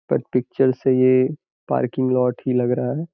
पर पिक्चर से ये पर्किंग लॉट ही लग रहा है।